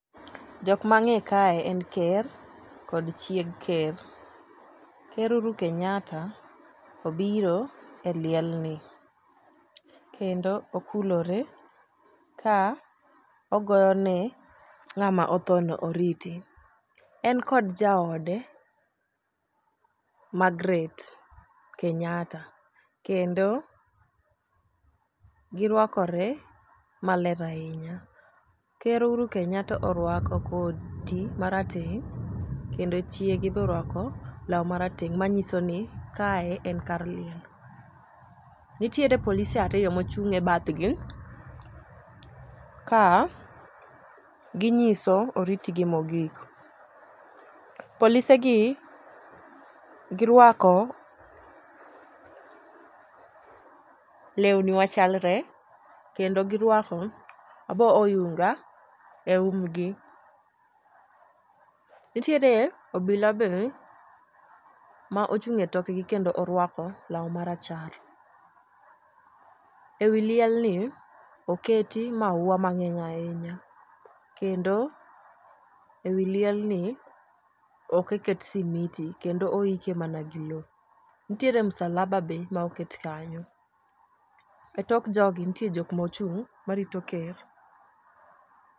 Jok mang'e kae en ker kod chieg ker . Ker uhuru kenyatta obiro e liel ni kendo okulore ka ogoyo ne ng'ama othono oriti. En kod jaode magret kenyatta kendo girwakore maler ahinya . Ker Uhuru Kenyatta orwako koti marateng kendo chiege borwako law marateng manyiso ni kae en kar liel. Nitiere polise ariyo mochung' e bath gi ka ginyiso oriti gi mogik. Polise gi girwako lewni machalre kendo girwako rabo yunga e um gi . Nitiere obila be ma ochung' e tokgi kendo orwako law marachar. Ewi liel ni oketi maua mang'eny ahinya kendo ewi liel ni ok oket simiti kendo oike mana gi loo. Nitiere musalaba be moket kanyo e tok jogi nitie jok mochung' marito ker.